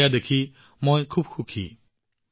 এইটো দেখি মই অতিশয় সুখী হৈছো